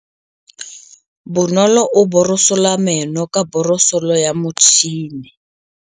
Bonolô o borosola meno ka borosolo ya motšhine.